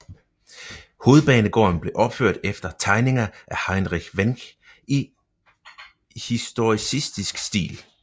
Hovedbanegården blev opført efter tegninger af Heinrich Wenck i historicistisk stil